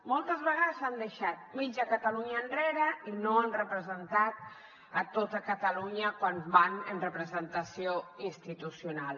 moltes vegades han deixat mitja catalunya enrere i no han representat tota catalunya quan van amb representació institucional